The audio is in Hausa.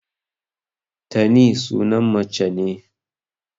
Tani sunan mace ne.